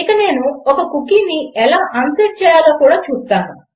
ఇక నేను ఒక కుకీని ఎలా అన్సెట్ చేయాలో కూడా చూపుతాను